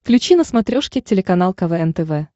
включи на смотрешке телеканал квн тв